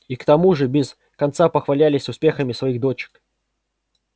и к тому же без конца похвалялись успехами своих дочек